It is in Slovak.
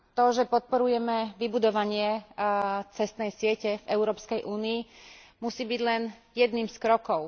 To, že podporujeme vybudovanie cestnej siete v Európskej únii, musí byť len jedným z krokov.